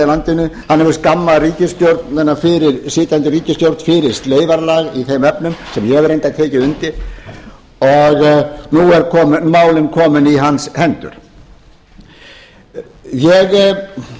landinu hann hefur skammað sitjandi ríkisstjórn fyrir sleifarlag í þeim efnum sem ég hef reyndar tekið undir og nú eru málin komin í hans hendur ég